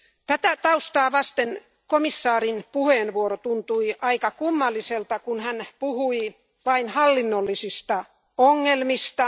Tätä taustaa vasten komissaarin puheenvuoro tuntui aika kummalliselta, kun hän puhui vain hallinnollisista ongelmista.